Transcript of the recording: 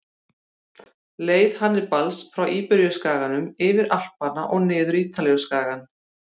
Leið Hannibals frá Íberíuskaganum, yfir Alpana og niður Ítalíuskagann.